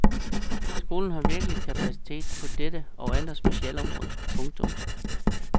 Skolen har virkelige kapaciteter på dette og andre specialområder. punktum